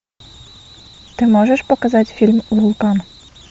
ты можешь показать фильм вулкан